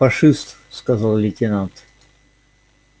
фашист сказал лейтенант